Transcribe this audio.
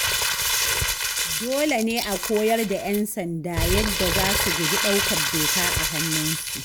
Dole ne a koyar da 'yan sanda yadda za su guji ɗaukar doka a hannunsu